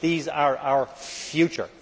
They are our future.